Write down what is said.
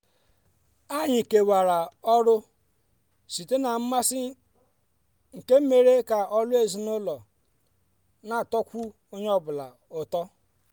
anyị kewara ọrụ site na mmasị nke mere ka ọlụ ezinụlọ n'atọkwu onye ọ bụla ụtọ.